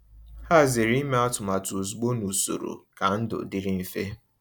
Ha zere ime atụmatụ ozugbo n’usoro ka ndụ dịrị mfe.